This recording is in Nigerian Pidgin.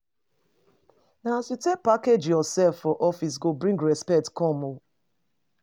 Na as you take package yoursef for office go bring respect come. um